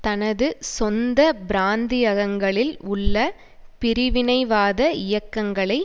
தனது சொந்த பிராந்தியகங்களில் உள்ள பிரிவினைவாத இயக்கங்களை